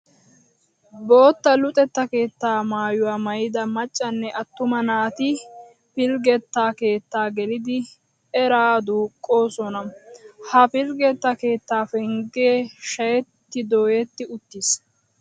Bootta luxetta keettaa maayuwa maayida maccanne attuma naati pilggetta keettaa gelidi eraa duuqqoosona. Ha pilggetta keettaa penggee shayetti dooyetti uttiis.